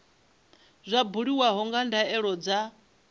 zwa buliwa nga ndaulo dza